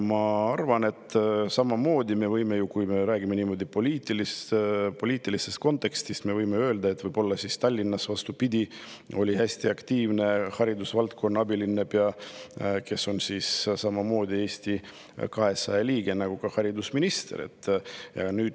Ma arvan, et samamoodi me võime ju öelda, kui me räägime niimoodi poliitilises kontekstis, et võib-olla Tallinnas oli, vastupidi, hästi aktiivne haridusvaldkonna abilinnapea, kes on Eesti 200 liige, nagu ka haridusminister.